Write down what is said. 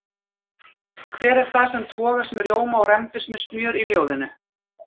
Hver er það sem togast með rjóma og rembist með smjör í ljóðinu?